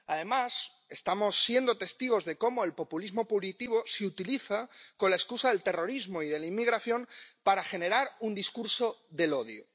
Además, estamos siendo testigos de cómo el populismo punitivo se utiliza con la excusa del terrorismo y de la inmigración para generar un discurso del odio.